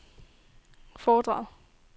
foredrag